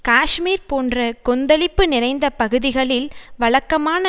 காஷ்மீர் போன்ற கொந்தளிப்பு நிறைந்த பகுதிகளில் வழக்கமான